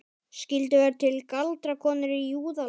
Skyldu vera til galdrakonur í Júðalandi?